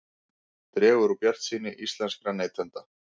Dregur úr bjartsýni íslenskra neytenda